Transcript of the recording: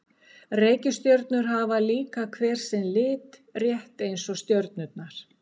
Reikistjörnur hafa líka hver sinn lit, rétt eins og stjörnurnar.